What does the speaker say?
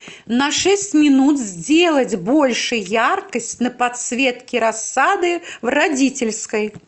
на шесть минут сделать больше яркость на подсветке рассады в родительской